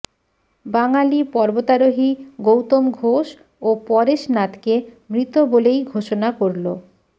বাঙালি পর্বতারোহী গৌতম ঘোষ ও পরেশ নাথকে মৃত বলেই ঘোষণা করল